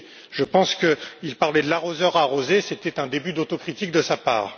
Je pense qu'il parlait de l'arroseur arrosé, c'était un début d'autocritique de sa part.